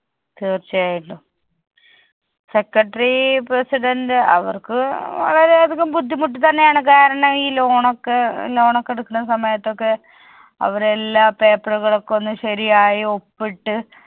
തീർച്ചയായിട്ടും. secretary president അവർക്ക് വളരെയധികം ബുദ്ധിമുട്ട് തന്നെയാണ് കാരണം ഈ loan ഒക്കെ loan ഒക്കെ എടുക്കണ സമയത്തൊക്കെ അവരെല്ലാ paper ഉകളൊക്കെ ഒന്ന് ശെരിയായി ഒപ്പിട്ട്